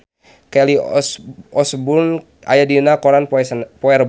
Kelly Osbourne aya dina koran poe Rebo